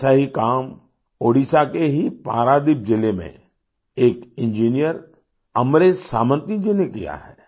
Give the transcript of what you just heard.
ऐसा ही काम ओडिशा के ही पारादीप जिले में एक इंजीनियर अमरेश सामंत जी ने किया है